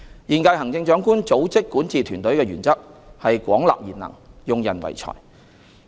現屆行政長官組織管治團隊的原則是廣納賢能、用人唯才。